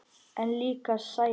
En líka sælu.